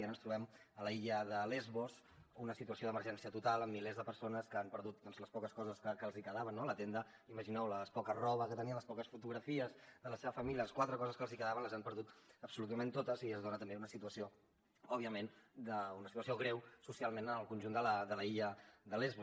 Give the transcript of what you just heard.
i ara ens trobem a l’illa de lesbos una situació d’emergència total amb milers de persones que han perdut les poques coses que els quedaven no la tenda imagineu la poca roba que tenien les poques fotografies de la seva família les quatre coses que els quedaven les han perdut absolutament totes i es dona també una situació òbviament una situació greu socialment al conjunt de l’illa de lesbos